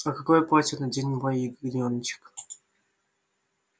а какое платье наденет мой ягнёночек